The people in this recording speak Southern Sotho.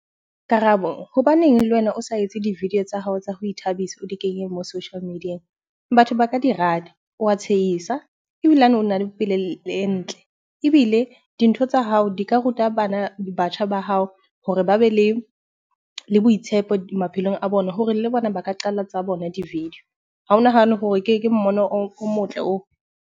Karabo, hobaneng le wena o sa etse di-video tsa hao tsa ho ithabisa, o di kenye mo social media-eng? Batho ba ka di rata, wa tshehisa ebilane na le e ntle. Ebile dintho tsa hao di ka ruta bana, batjha ba hao hore ba be le boitshepo maphelong a bona hore le bona ba ka qala tsa bona di-video. Ha o nahane hore ke mmono o motle oo?